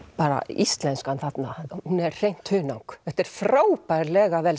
íslenskan þarna hún er hreint hunang þetta er frábærlega vel